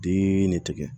Den ne tɛgɛ